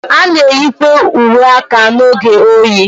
A na-eyikwa uwe aka n'oge oyi.